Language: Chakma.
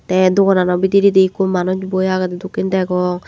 te doganano bidiredi ikko manuj boi agede dokken degong.